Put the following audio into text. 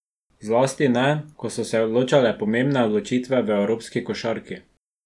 Zlasti ne, ko so se odločale pomembne odločitve v evropski košarki.